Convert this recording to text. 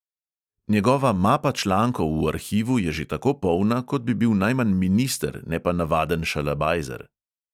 Njegova mapa člankov v arhivu je že tako polna, kot bi bil najmanj minister, ne pa navaden šalabajzer ...